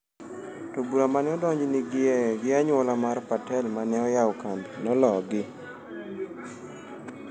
To bura mane odonjnigie gi anyuola mar Patel mane oyawo kambi nologi.